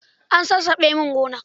An sassabe min gona.